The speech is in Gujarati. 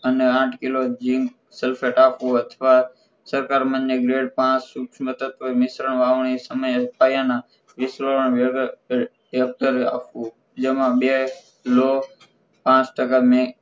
અને આઠ કિલ zinc sulphet આપવું અથવા સરખામને ગ્લેડ પાંચ સુક્ષમથનક કોઈ મિશ્રણ વાવણી સમયે પાયાના આપવું જેમાં બે કિલો આઠ ટકા